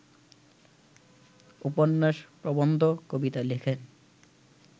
উপন্যাস, প্রবন্ধ, কবিতা লেখেন